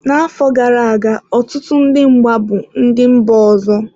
N'afọ gara aga, ọtụtụ ndị mgba bụ ndị mba ọzọ.